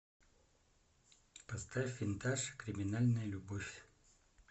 поставь винтаж криминальная любовь